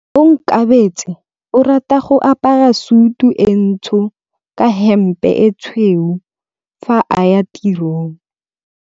Onkabetse o rata go apara sutu e ntsho ka hempe e tshweu fa a ya tirong.